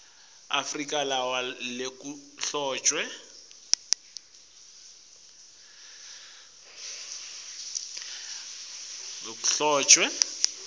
afrika lawa lekuhloswe